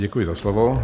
Děkuji za slovo.